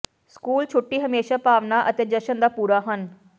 school ਛੁੱਟੀ ਹਮੇਸ਼ਾ ਭਾਵਨਾ ਅਤੇ ਜਸ਼ਨ ਦਾ ਪੂਰਾ ਹਨ